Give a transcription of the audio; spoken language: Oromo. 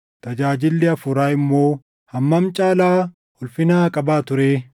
tajaajilli Hafuuraa immoo hammam caalaa ulfina haa qabaatuu ree?